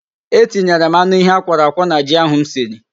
E tinyere m anụ ehi akwọrọ akwọ na ji ahụ m siri.